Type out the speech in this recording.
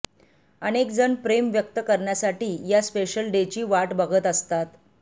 अनेक जण प्रेम व्यक्त करण्यासाठी या स्पेशल डेची वाट बघत असतात